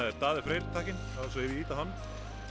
er Daði Freyr takkinn og ef ég ýti á hann